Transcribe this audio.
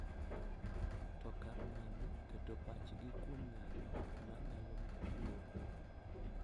To kar mano, keto pachgi kuom nyalo ma nyalo miyo gidong’ .